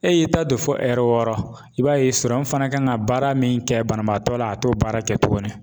E y'i ta don fo wɔɔrɔ i b'a ye kan ka baara min kɛ banabaatɔ la, a t'o baara kɛ tuguni